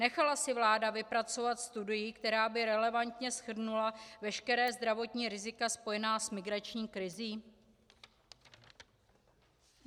Nechala si vláda vypracovat studii, která by relevantně shrnula veškerá zdravotní rizika spojená s migrační krizí?